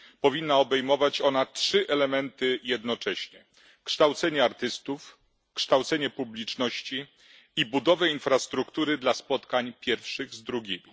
Powinna obejmować ona trzy elementy jednocześnie kształcenie artystów, kształcenie publiczności i budowę infrastruktury dla spotkań pierwszych z drugimi.